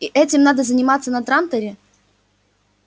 и этим надо заниматься на транторе